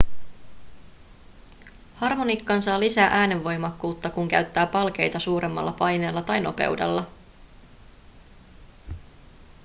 harmonikkaan saa lisää äänenvoimakkuutta kun käyttää palkeita suuremmalla paineella tai nopeudella